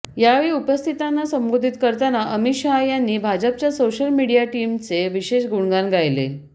यावेळी उपस्थितांना संबोधित करताना अमित शहा यांनी भाजपच्या सोशल मीडिया टीमचे विशेष गुणगान गायले